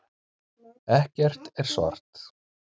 Ekkert er svart.